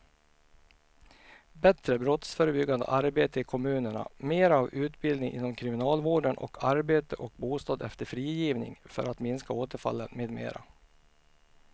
Bättre brottsförebyggande arbete i kommunerna, mera av utbildning inom kriminalvården och arbete och bostad efter frigivningen för att minska återfallen med mera.